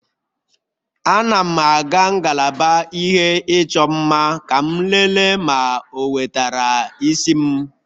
Ana m aga ngalaba ihe ịchọ mma ka m lelee ma o wetara isi m